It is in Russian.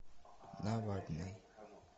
навальный